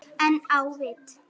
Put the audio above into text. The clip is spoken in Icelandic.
En á vit